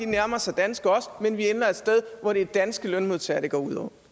nærmer sig danske men vi ender et sted hvor det er danske lønmodtagere det går ud over